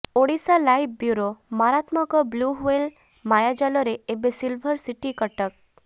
Odisha live bureau ମାରାତ୍ମକ blue whale ମାୟାଜାଲରେ ଏବେ ସିଲଭର ସିଟି କଟକ